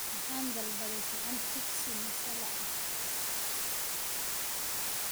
Waxaan dalbaday saxan jibsi masala ah